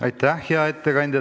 Aitäh, hea ettekandja!